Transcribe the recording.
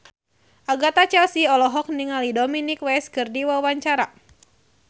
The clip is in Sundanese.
Agatha Chelsea olohok ningali Dominic West keur diwawancara